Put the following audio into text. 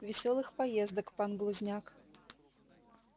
весёлых поездок пан глузняк